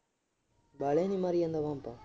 ਵਾਹਲੇ ਨੀ ਮਾਰੀ ਜਾਂਦਾ ਤੂੰ ਤਾਂ।